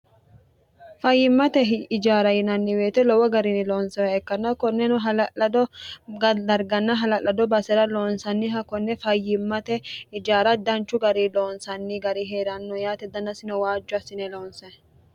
fayyimmate ijaara yinanni woyite lowo garini loonisoha ikkanna konneno hala'lado darganna hala'lado basera loonsanniha konne fayyimmate ijaara danchu gari loonsanni gari hee'ranno yaate dannasino waajjo assine loonse